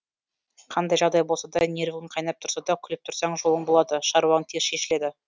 қандай жағдай болса да нервің қайнап тұрса да күліп тұрсаң жолың болады шаруаң тез шешіледі